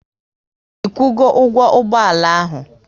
Ikwu go ụgwọ ụgbọala ahụ?